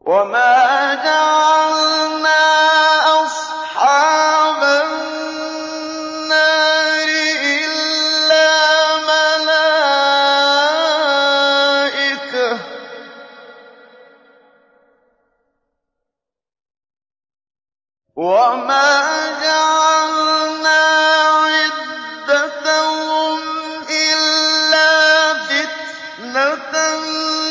وَمَا جَعَلْنَا أَصْحَابَ النَّارِ إِلَّا مَلَائِكَةً ۙ وَمَا جَعَلْنَا عِدَّتَهُمْ إِلَّا فِتْنَةً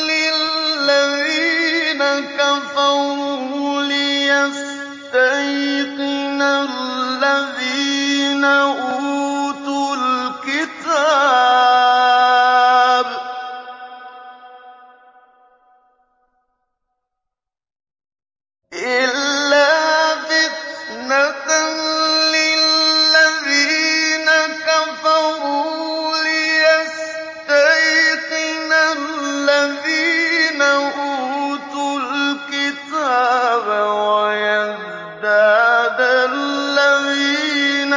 لِّلَّذِينَ كَفَرُوا لِيَسْتَيْقِنَ الَّذِينَ أُوتُوا الْكِتَابَ وَيَزْدَادَ الَّذِينَ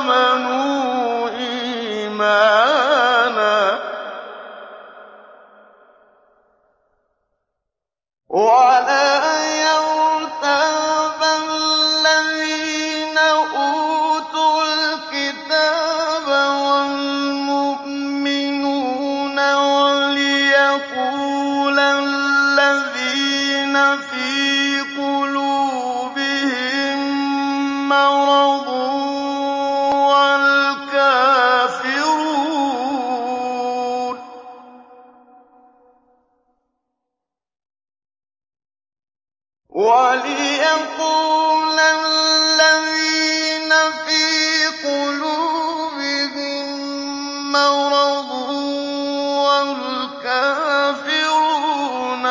آمَنُوا إِيمَانًا ۙ وَلَا يَرْتَابَ الَّذِينَ أُوتُوا الْكِتَابَ وَالْمُؤْمِنُونَ ۙ وَلِيَقُولَ الَّذِينَ فِي قُلُوبِهِم مَّرَضٌ وَالْكَافِرُونَ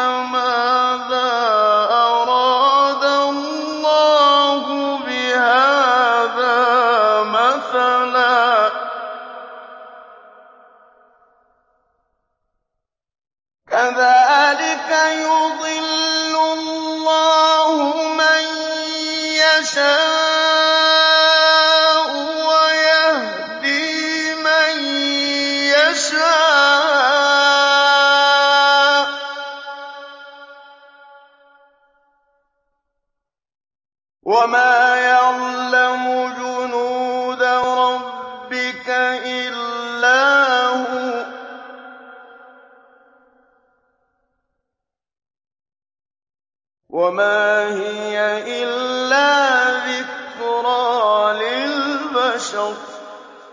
مَاذَا أَرَادَ اللَّهُ بِهَٰذَا مَثَلًا ۚ كَذَٰلِكَ يُضِلُّ اللَّهُ مَن يَشَاءُ وَيَهْدِي مَن يَشَاءُ ۚ وَمَا يَعْلَمُ جُنُودَ رَبِّكَ إِلَّا هُوَ ۚ وَمَا هِيَ إِلَّا ذِكْرَىٰ لِلْبَشَرِ